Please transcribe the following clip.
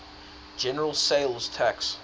general sales tax